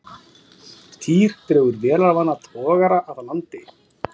Týr dregur vélarvana togara að landi